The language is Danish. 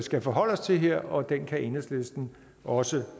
skal forholde os til her og den kan enhedslisten også